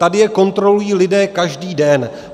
Tady je kontrolují lidé každý den.